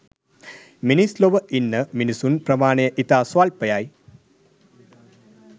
මිනිස් ලොව ඉන්න මිනිසුන් ප්‍රමාණය ඉතා ස්වල්පයි.